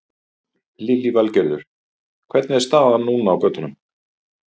Lillý Valgerður: Hvernig er staðan núna á götunum?